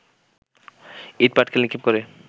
ইট পাটকেল নিক্ষেপ করে